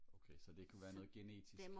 okay så det kan være noget genetisk